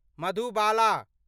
Madhubala